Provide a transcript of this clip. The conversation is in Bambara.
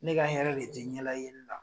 Ne ka hɛrɛ de tɛ ɲɛ la yeli la.